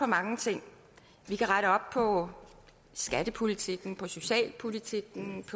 mange ting vi kan rette op på skattepolitikken på socialpolitikken